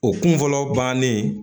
O kun fɔlɔ bannen